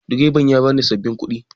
Direban ya bani sabin kuɗi